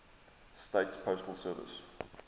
states postal service